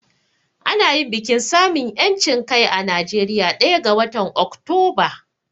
Ana yin bikin samun 'yancin kai a Najeriya ɗaya ga watan Oktoba.